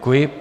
Děkuji.